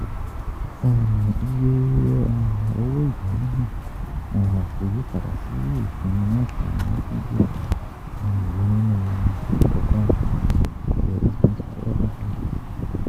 um Iye um owó ìnáwó náà um kò yí padà sí ìpín mẹ́sàn-án ó dín díẹ̀ ìyẹn nínú ọgọ́rùn-ún eight point um seven five per cent.